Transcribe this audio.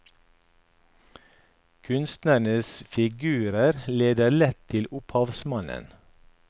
Kunstnerens figurer leder lett til opphavsmannen.